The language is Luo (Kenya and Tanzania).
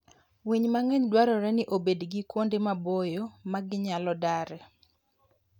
Winy mang'eny dwarore ni obed gi kuonde maboyo ma ginyalo dare.